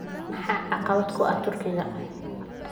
Maxaa caqabad ku ah Turkiga?